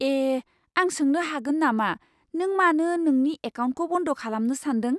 ए! आं सोंनो हागोन नामा नों मानो नोंनि एकाउन्टखौ बन्द खालामनो सानदों?